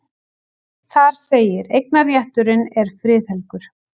Þar segir: Eignarrétturinn er friðhelgur.